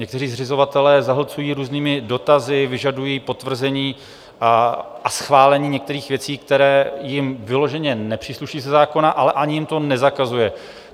Někteří zřizovatelé zahlcují různými dotazy, vyžadují potvrzení a schválení některých věcí, které jim vyloženě nepřísluší ze zákona, ale ani jim to nezakazuje.